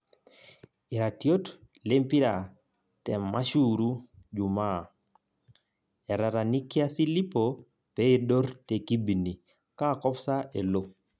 Iratiot lempira te mMashuuru Jumaa; Etatanikia Silipo peidur tekibini kaakop sa elo